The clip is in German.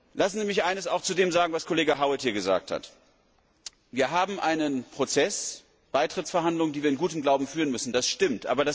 Lassen Sie mich eines auch zu dem sagen, was Kollege Howitt hier gesagt hat. Wir haben einen Prozess Beitrittsverhandlungen die wir in gutem Glauben führen müssen, das stimmt.